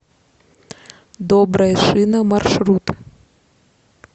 добрая шина маршрут